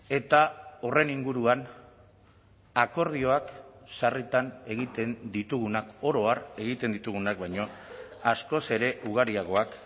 eta horren inguruan akordioak sarritan egiten ditugunak oro har egiten ditugunak baino askoz ere ugariagoak